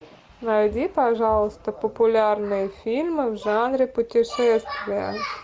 найди пожалуйста популярные фильмы в жанре путешествия